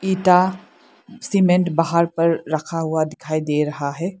इंटा सीमेंट बाहर पर रखा हुआ दिखाई दे रहा है।